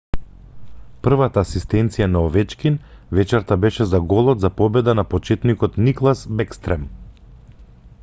првата асистенција на овечкин вечерта беше за голот за победа на почетникот никлас бeкстрем;